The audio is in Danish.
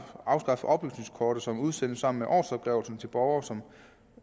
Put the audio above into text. at afskaffe oplysningskortet som udsendes sammen med årsopgørelsen til borgere som